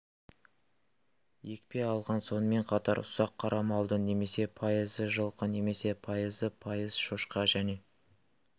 екпе алған сонымен қатар ұсақ қара малдың немесе пайызы жылқы немесе пайызы пайыз шошқа және